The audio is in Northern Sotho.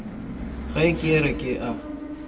ge ke re ke a